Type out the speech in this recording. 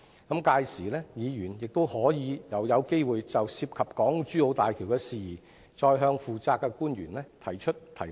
屆時議員又有機會就港珠澳大橋的事宜，再向負責的官員提問。